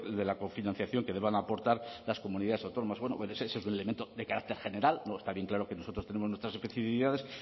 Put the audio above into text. de la cofinanciación que deban aportar las comunidades autónomas eso es un elemento de carácter general está bien claro que nosotros tenemos nuestras especificidades